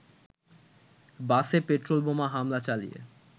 “বাসে পেট্রোল বোমা হামলা চালিয়ে